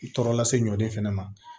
Tɔɔrɔ lase ɲɔnden fɛnɛ ma